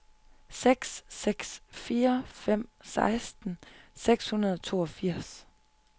seks seks fire fem seksten seks hundrede og toogfirs